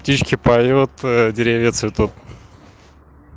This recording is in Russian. птички поют деревья цветут